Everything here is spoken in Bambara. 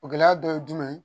O gɛlɛya dɔ ye jumɛn ye